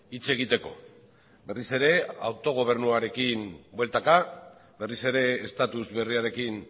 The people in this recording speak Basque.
hitz egiteko berriz ere autogobernuarekin bueltaka berriz ere estatus berriarekin